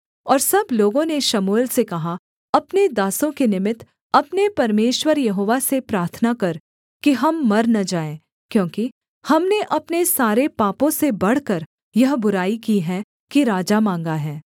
और सब लोगों ने शमूएल से कहा अपने दासों के निमित्त अपने परमेश्वर यहोवा से प्रार्थना कर कि हम मर न जाएँ क्योंकि हमने अपने सारे पापों से बढ़कर यह बुराई की है कि राजा माँगा है